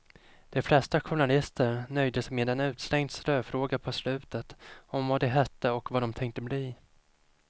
De flesta journalister nöjde sig med en utslängd ströfråga på slutet om vad de hette och vad dom tänkte bli.